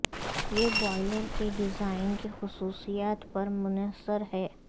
یہ بوائلر کے ڈیزائن کی خصوصیات پر منحصر ہے